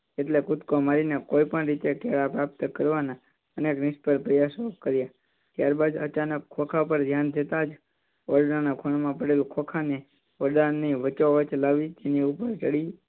કૂદકો મારીને કોઈપણ રીતે કેળાં પ્રાપ્ત કરવાના નિસફળ પ્રયાસો કર્યા. ત્યારબાદ અચાનક ખોખ પર ધ્યાન જતાં જ ઓરડાની ખૂણા માં પડેલ ખોખને ઓરડાની વચ્ચો વચ્ચ લાવી તેની ઉપર ચડી